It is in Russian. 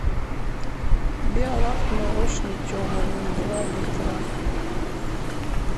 биолакт молочный тема ноль два литра